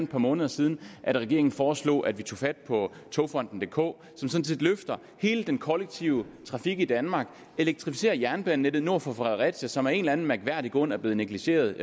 par måneder siden at regeringen foreslog at vi tog fat på togfonden dk som sådan set løfter hele den kollektive trafik i danmark elektrificerer jernbanenettet nord for fredericia som af en eller anden mærkværdig grund er blevet negligeret